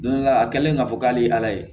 Don dɔ la a kɛlen k'a fɔ k'ale ye